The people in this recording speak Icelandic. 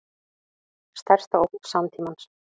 Stærsta ógn samtímans